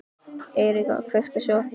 Eiríka, kveiktu á sjónvarpinu.